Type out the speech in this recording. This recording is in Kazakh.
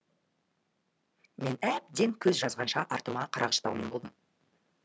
мен әбден көз жазғанша артыма қарағыштаумен болдым